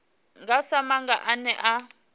nga sa maga ane a